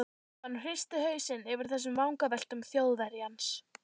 Stefán hristi hausinn yfir þessum vangaveltum Þjóðverjans.